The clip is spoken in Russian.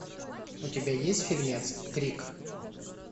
у тебя есть фильмец крик